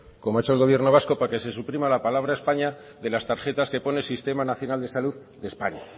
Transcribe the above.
como ha hecho el gobierno vasco para que se suprima la palabra españa de las tarjetas que ponen sistema nacional de salud de españa